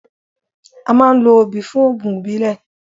A máa ń lo obì fún oògùn ìbílẹ̀.